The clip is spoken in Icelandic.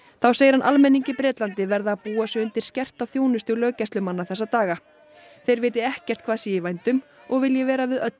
þá segir hann almenning í Bretlandi verða að búa sig undir skerta þjónustu löggæslumanna þessa daga þeir viti ekkert hvað sé í vændum og vilji vera við öllu